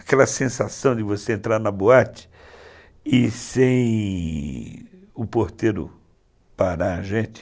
Aquela sensação de você entrar na boate e sem o porteiro parar a gente.